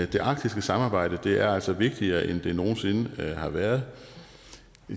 det arktiske samarbejde er altså vigtigere end det nogen sinde har været